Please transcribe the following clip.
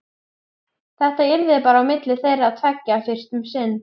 Þetta yrði bara á milli þeirra tveggja fyrst um sinn.